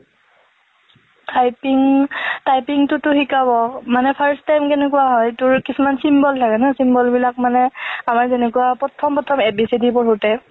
typing~typing তু টো শিকাব, মানে first time কেনেকুৱা হয় তোৰ কিছুমান symbol থাকে না, symbol বিলাক মানে আমাৰ যেনেকুৱা প্ৰথম প্ৰথম a b c d পঢ়োতে,